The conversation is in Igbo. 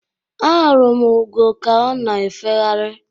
Ahụrụ m ugo ka ọ na efegharị.